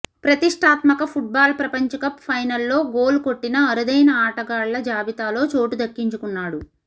ప్రతిష్టాత్మక ఫుట్బాల్ ప్రపంచకప్ ఫైనల్లో గోల్ కొట్టిన అరుదైన ఆటగాళ్ల జాబితాలో చోటు దక్కించుకున్నాడు